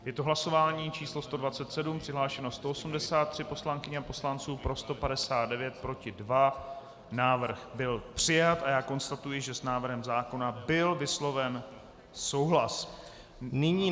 Je to hlasování číslo 127, přihlášeno 183 poslankyň a poslanců, pro 159, proti 2, návrh byl přijat a já konstatuji, že s návrhem zákona byl vysloven souhlas.